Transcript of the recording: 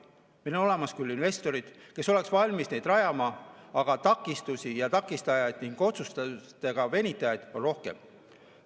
Meil on olemas küll investorid, kes oleks valmis neid rajama, aga takistusi ja takistajaid ning otsustustega venitajaid on rohkem.